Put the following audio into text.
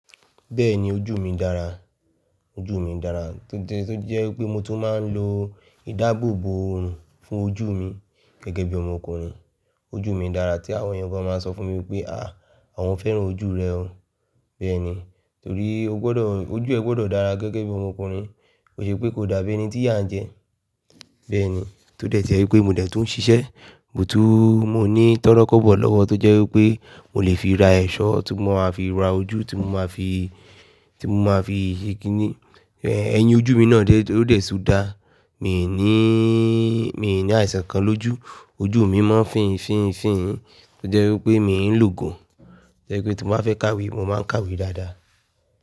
Bẹ́ẹ̀ni ojú mi dára, ojú mi dára tó jẹ́ pé mo tún máa ń lo ìdáàbòbò ọ̀òrùn fún ojú mi gẹ́gẹ́ bí ọmọkùnrin. Ojú mi dára tí àwọn ẹ̀yàn gbọ́dọ̀ máa sọ fún mi wípé, "àáà, àwọn fẹ́ràn ojú rẹ o." Bẹ́ẹ̀ni torí ó gbọ́dọ̀, ojú ẹ gbọ́dọ̀ dára gẹ́gẹ́ bí ọmọkùnrin bó ṣe pé kò dàbí ẹni tí ìyà ń jẹ. Bẹ́ẹ̀ni, tó dẹ̀ ti ẹ̀ pé mo dẹ̀ tún ń ṣiṣẹ́, mo tún, mo ní tọ́rọ́kọ́bọ̀ lọ́wọ́ tó jẹ́ wípé mo lè fi ra ẹ̀sọ́ tí mo máa fi ra ojú tí mo máa fi, tí mo máa fi ṣe kí ní, ẹ̀yìn ojú mi náà ó dé tún dá. Mi ò ní, mi ò ní àìsàn kan lójú, ojú mi máa ń fìýin, fìýin, fìýin tó jẹ́ wípé mi ń lògò tó jẹ́ wípé tí mo bá fẹ́ kàwé mo máa ń kàwé dáadáa.